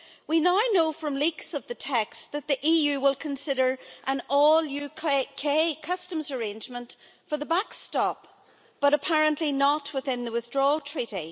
We now know, from leaks of the text, that the EU will consider an all UK customs arrangement for the backstop, but apparently not within the withdrawal treaty